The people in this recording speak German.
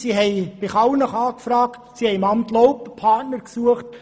Sie hat Kallnach angefragt und im Amt Laupen Partner gesucht.